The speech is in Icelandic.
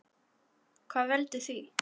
Hvað veldur því?